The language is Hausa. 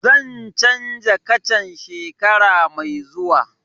Zan canza kacan shekara mai zuwa